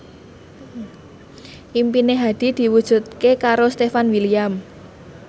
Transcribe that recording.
impine Hadi diwujudke karo Stefan William